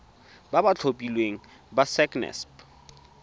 ba ba tlhophilweng ke sacnasp